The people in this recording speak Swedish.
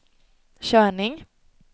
körning